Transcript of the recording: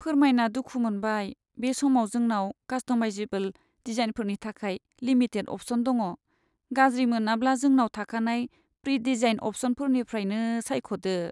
फोरमायना दुखु मोनबाय, बे समाव जोंनाव कास्ट'माइजेबोल डिजाइनफोरनि थाखाय लिमिटेड अप्शन दङ। गाज्रि मोनाब्ला जोंनाव थाखानाय प्रि डिजाइन्ड अप्शनफोरनिफ्रायनो सायख'दो।